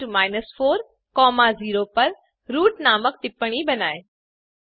point 4 0 पर root नामक annotation बनाएँ